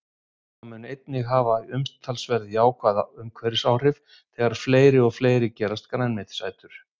Það mun einnig hafa umtalsverð jákvæð umhverfisáhrif þegar fleiri og fleiri gerast grænmetisætur.